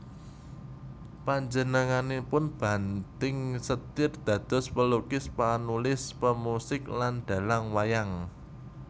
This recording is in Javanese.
Panjenenganipun banting setir dados pelukis panulis pemusik lan dhalang wayang